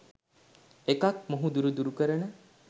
එකක් මොහඳුර දුරු කරන